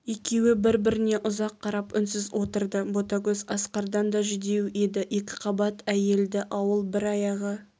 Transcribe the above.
екеуі бір-біріне ұзақ қарап үнсіз отырды ботагөз асқардан да жүдеу еді екіқабат әйелді ауыл бір аяғы